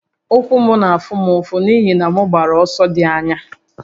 Ụkwụ m na-afụ m ụfụ n'ihi na m gbara ọsọ dị anya